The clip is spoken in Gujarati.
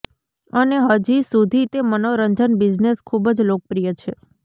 અને હજી સુધી તે મનોરંજન બિઝનેસ ખૂબ જ લોકપ્રિય છે